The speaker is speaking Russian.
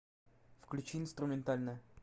включи инструментальная